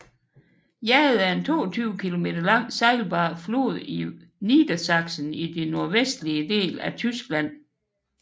Jade er en 22 km lang sejlbar flod i Niedersachsen i den nordvestlige del af Tyskland